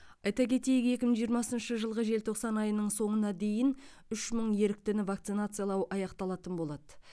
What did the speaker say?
айта кетейік екі мың жиырмасыншы жылғы желтоқсан айының соңына дейін үш мың еріктіні вакцинациялау аяқталатын болады